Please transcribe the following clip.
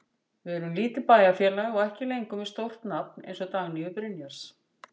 Við erum lítið bæjarfélag og ekki lengur með stórt nafn eins og Dagnýju Brynjars.